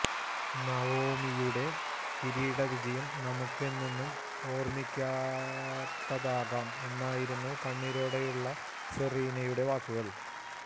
നവോമിയുെട കിരീടവിജയം നമുക്ക് എന്നെന്നും ഓർമിക്കത്തക്കതാക്കാം എന്നായിരുന്നു കണ്ണീരോടെയുള്ള സെറീനയുടെ വാക്കുകൾ